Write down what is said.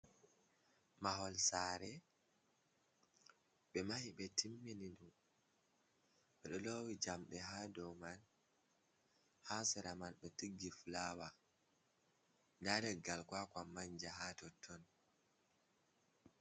Mahol sare ɓe mahi ɓe timmini ndu ɓeɗo lowi jamɗe ha dou man. Ha sera man ɓe tiggi fulawa, nda leggal kwa-kwa manja ha totton.